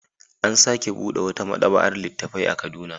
An sake buɗe wata maɗaba'ar littattafai a Kaduna.